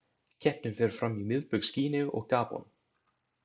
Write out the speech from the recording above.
Keppnin fer fram í Miðbaugs Gíneu og Gabon.